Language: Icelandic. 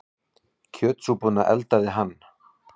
Kjötsúpuna eldaði hann.